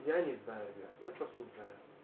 я не знаю ребят я просто не знаю